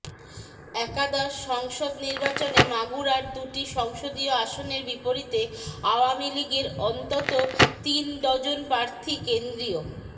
একাদশ সংসদ নির্বাচনে মাগুরার দুটি সংসদীয় আসনের বিপরীতে আওয়ামী লীগের অন্তত তিন ডজন প্রার্র্থী কেন্দ্রীয়